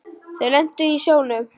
Þau lentu í sjónum.